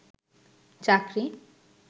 চাকরি